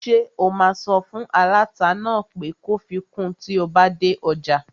Ṣé o máa sọ fún aláta náà pé kó fi kun tí o bá dé ọjà?